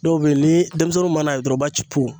Dɔw bɛ yen ni denmisɛnnin mana ye dɔrɔn o b'a ci